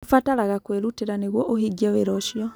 Kũbataraga kwĩrutĩra nĩguo ũhingie wĩra ũcio.